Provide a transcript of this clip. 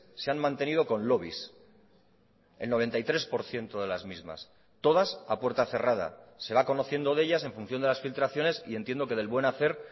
se han mantenido con lobbies el noventa y tres por ciento de las mismas todas a puerta cerrada se va conociendo de ellas en función de las filtraciones y entiendo que del buen hacer